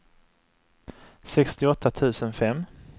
sextioåtta tusen fem